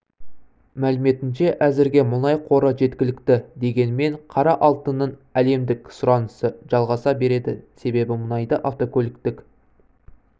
мәліметінше әзірге мұнай қоры жеткілікті дегенмен қара алтынның әлемдік сұранысы жалғаса береді себебі мұнайды автокөліктік